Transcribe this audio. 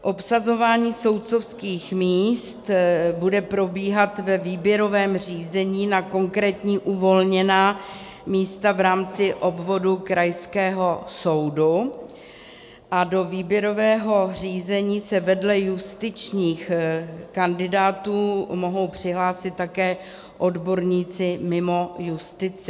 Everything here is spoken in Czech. Obsazování soudcovských míst bude probíhat ve výběrovém řízení na konkrétní uvolněná místa v rámci obvodu krajského soudu a do výběrového řízení se vedle justičních kandidátů mohou přihlásit také odborníci mimo justici.